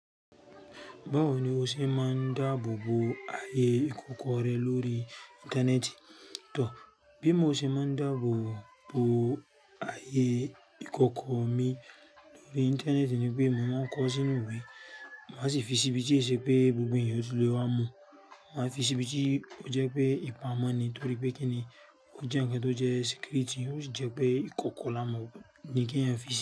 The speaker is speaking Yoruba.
Báwo ni o ṣe máa ń dáàbò bo ayé ìkọkọ rẹ lórí Íńtánẹ́ẹ̀tì? Tọ, bi mo ṣe máa ń dáàbò bo ayé ìkọkọ mi lórí Íńtánẹ́ẹ̀tì ni pé mò ń kọ ọ́ sínú ìwé, màá sì fi síbi tí e ṣe pé gbogbo ènìyàn ti lè wá mú. Màá fi síbi tí ó jẹ́ pé ìpamọ́ ni torí pé kíni ó jẹ́ nnkan tó jẹ́ security, ó sì jẹ́ pé ìkọkọ là mọ̀ ni kí ẹ̀yin fi sí.